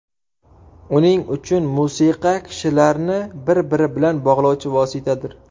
Uning uchun musiqa kishilarni bir-biri bilan bog‘lovchi vositadir.